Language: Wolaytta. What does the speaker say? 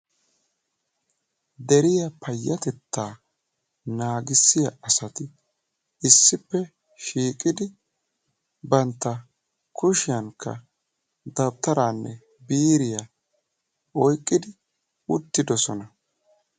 deriya payatetta naagissiya asati issippe shiiqidi banta kushiyankka dawutaraanne biiriya oyqidi uttidosona.